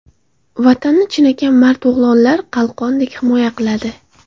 Vatanni chinakam mard o‘g‘lonlar qalqondek himoya qiladi.